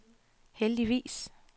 heldigvis